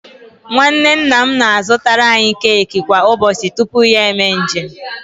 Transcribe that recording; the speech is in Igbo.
Nwanne nna m na-azụtaara anyị keki kwa ụbọchị tupu ya eme njem